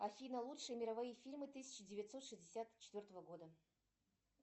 афина лучшие мировые фильмы тысяча девятьсот шестьдесят четвертого года